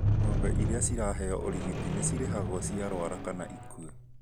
Ng'ombe iia ciraheo urigiti nĩcirĩhagwo cingĩrwara kana ikuwe